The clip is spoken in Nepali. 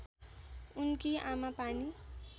उनकी आमा पानी